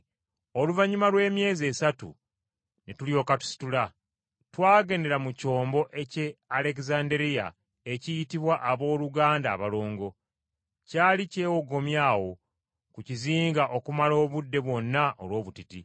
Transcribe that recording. Oluvannyuma lw’emyezi esatu ne tulyoka tusitula. Twagendera mu kyombo eky’e Alegezanderiya ekiyitibwa Abooluganda Abalongo. Kyali kyewogomye awo ku kizinga okumala obudde bwonna olw’obutiti.